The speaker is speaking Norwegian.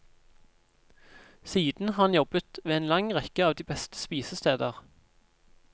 Siden har han jobbet ved en lang rekke av de beste spisesteder.